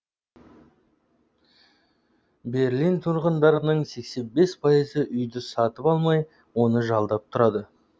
берлин тұрғындарының сексен бес пайызы үйді сатып алмай оны жалдап тұрады